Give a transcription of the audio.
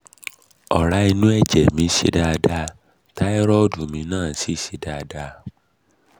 ọ̀rá inú ẹ̀jẹ̀ mi ṣe dáada táírọ́ọ̀dù mi náà sì sì ṣe dáada